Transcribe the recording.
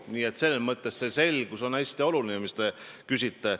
Nii et selles mõttes on hästi oluline see selgus, mille kohta te küsite.